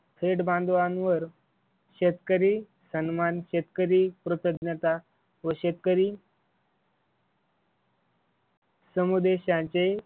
थेट बांधवांवर शेतकरी सन्मान शेतकरी कृतज्ञता व शेतकरी समुदेशांचे